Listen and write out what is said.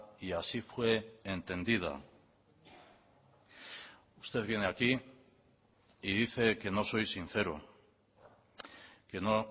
y así fue entendida usted viene aquí y dice que no soy sincero que no